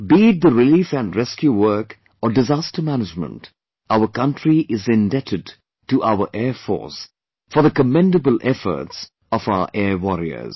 Be it the relief and rescue work or disaster management, our country is indebted to our Air Force for the commendable efforts of our Air Warrior